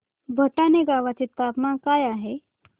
भटाणे गावाचे तापमान काय आहे